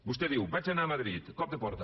vostè diu vaig anar a madrid cop de porta